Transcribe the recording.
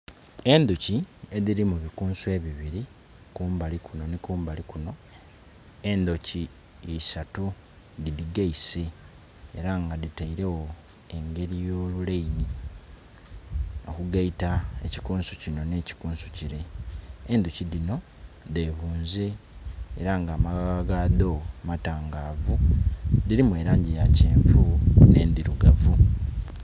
Endhuki edhiri mu bikunsu ebibiri kumbali kuno ni kumbali kuno endhuki isatu didhigaise era nga dhiteiregho engeri yo luleini okugaita ekikunsu kino ne kikunsu kile. Endhoki dhino dhe bunze era nga amaghagha gadho matangavu, dhirimu langi ya kyenvu ne ndhirugavu.